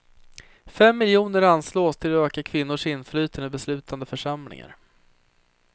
Fem miljoner anslås till att öka kvinnors inflytande i beslutande församlingar.